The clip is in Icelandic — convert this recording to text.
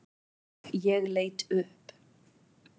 Ég leit upp.